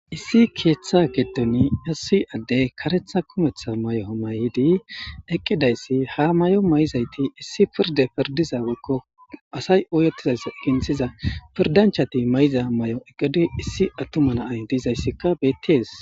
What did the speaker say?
Issi keeththa gedoni Issi addey karetha kumetha may7o may7idi eqqidayssi ha may7o may7izayti issi pirde pirdiza gakko asay oyotizayss eginthiza pirdanchati may7iza may7o eqqidu issi attumanaay diizayssikka bettees.